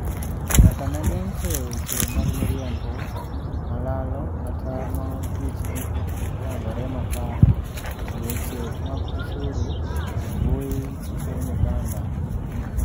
nyaka ne geng' keyo weche mag miriambo, malalo kata ma adiechgi ok oyangore makare, e weche mag osuru embui epiny Uganda.